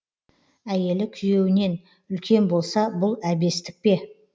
әйелі күйеуінен үлкен болса бұл әбестік пе